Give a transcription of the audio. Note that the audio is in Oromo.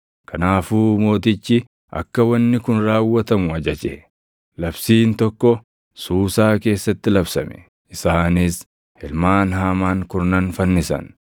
Kanaafuu mootichi akka wanni kun raawwatamu ajaje. Labsiin tokko Suusaa keessatti labsame; isaanis ilmaan Haamaan kurnan fannisan.